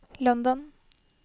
London